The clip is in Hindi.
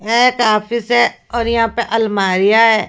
है काफिस है और यहां पे अलमारियां हैं।